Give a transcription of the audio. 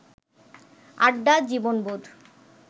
আড্ডা, জীবনবোধ